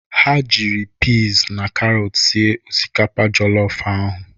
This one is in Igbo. Ha jiri pịz na karọt sie osikapa jọlọf ahụ.